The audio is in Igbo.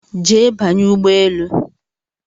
Jee banye ụgbọelu!